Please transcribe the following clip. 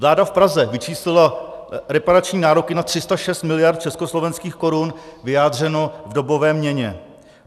Vláda v Praze vyčíslila reparační nároky na 306 miliard československých korun vyjádřeno v dobové měně.